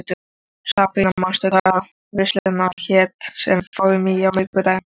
Sabrína, manstu hvað verslunin hét sem við fórum í á miðvikudaginn?